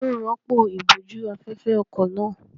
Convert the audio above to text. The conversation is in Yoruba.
Ta ni yóò rọ́pò ìbòjú-afẹ́fẹ́ ọkọ̀ náà?